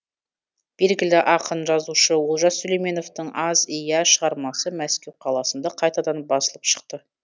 белгілі ақын жазушы олжас сүлейменовтің аз и я шығармасы мәскеу қаласында қайтадан басылып шықты